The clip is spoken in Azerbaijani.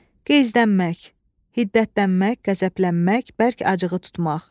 Qızdamaq, hiddətlənmək, qəzəblənmək, bərk acığı tutmaq.